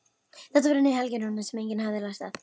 Þetta voru nýjar helgirúnir sem enginn hafði lært að ráða.